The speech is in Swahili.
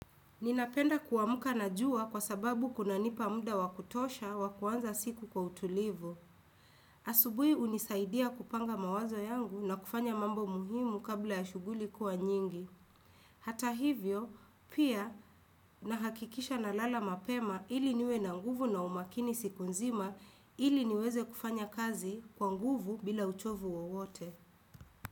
Ninapenda kuamuka na jua kwa sababu kunanipa muda wa kutosha wa kuanza siku kwa utulivu. Asubui unisaidia kupanga mawazo yangu na kufanya mambo muhimu kabla ya shuguli kuwa nyingi. Hata hivyo, pia nahakikisha na lala mapema ili niwe na nguvu na umakini siku nzima ili niweze kufanya kazi kwa nguvu bila uchovu wowote.